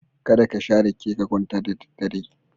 Kada ka sha rake ka kwanta da daddare.